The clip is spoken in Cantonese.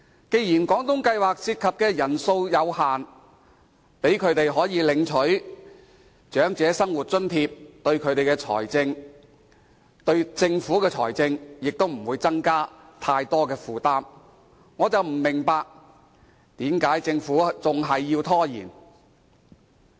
既然廣東計劃涉及的人數有限，讓他們領取長生津的話，其實對政府的財政也不會造成更大負擔，我不明白為何政府還要拖延。